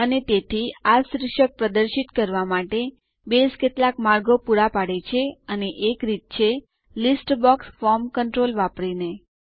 અને તેથી આ શીર્ષક પ્રદર્શિત કરવા માટે બેઝ કેટલાક માર્ગો પૂરા પાડે છે અને એક રીત છે લીસ્ટ બોક્સ ફોર્મ કન્ટ્રોલ વાપરીને